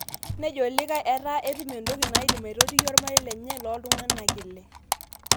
Nejo likai etaa etum entoki naidim aitotiyie ormarei lenye loontung'anak ile